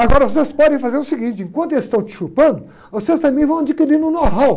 Agora, vocês podem fazer o seguinte, enquanto eles estão te chupando, vocês também vão adquirindo um know-how.